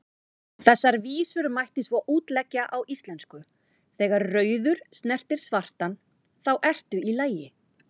Þessar vísur mætti svo útleggja á íslensku: Þegar rauður snertir svartan, þá ertu í lagi,